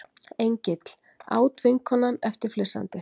Engill, át vinkonan eftir flissandi.